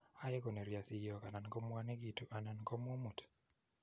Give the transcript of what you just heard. Ae konerio siyok anan komwanekitu anan komumut.